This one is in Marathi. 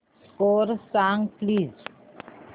स्कोअर सांग प्लीज